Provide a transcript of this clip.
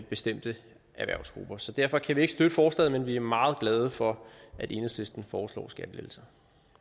bestemte erhvervsgrupper så derfor kan vi ikke støtte forslaget men vi er meget glade for at enhedslisten foreslår skattelettelser